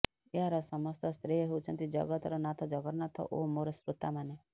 ଏହାର ସମସ୍ତ ଶ୍ରେୟ ହେଉଛନ୍ତି ଜଗତର ନାଥ ଜଗନ୍ନାଥ ଓ ମୋର ଶ୍ରୋତାମାନେ